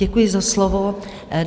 Děkuji za slovo.